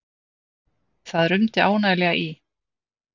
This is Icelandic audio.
Það rumdi ánægjulega í